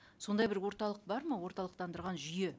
сондай бір орталық бар ма орталықтандырған жүйе